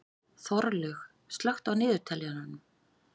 Þorlaug, slökktu á niðurteljaranum.